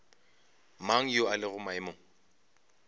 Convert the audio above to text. mang yo a lego maemong